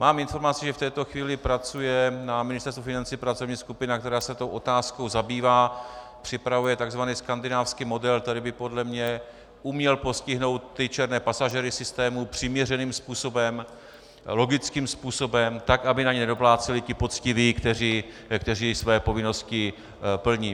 Mám informaci, že v této chvíli pracuje na Ministerstvu financí pracovní skupina, která se tou otázkou zabývá, připravuje tzv. skandinávský model, který by podle mě uměl postihnout ty černé pasažéry systému přiměřeným způsobem, logickým způsobem tak, aby na ně nedopláceli ti poctiví, kteří své povinnosti plní.